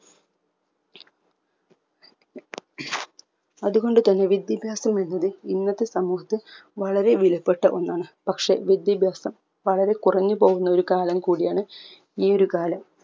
അത് കൊണ്ട് തന്നെ വിദ്യാഭ്യാസം എന്നത് ഇന്നത്തെ സമൂഹത്ത് വളരെ വിലപ്പെട്ട ഒന്നാണ് പക്ഷെ വിദ്യാഭ്യാസം വളരെ കുറഞ്ഞു പോകുന്ന കാലം കൂടിയാണ് ഈ ഒരു കാലം